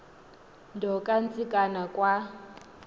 nto kantsikana kwa